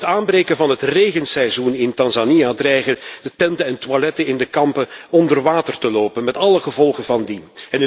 Door het aanbreken van het regenseizoen in Tanzania dreigen de tenten en toiletten in de kampen onder water te lopen, met alle gevolgen van dien.